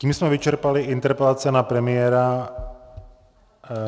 Tím jsme vyčerpali interpelace na premiéra.